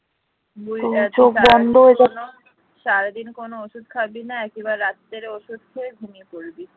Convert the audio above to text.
সারাদিন কোন ওষুধ খাবি নাই একেবারে রাত্রে ওষুধ খেয়ে ঘুমিয়ে পড়বি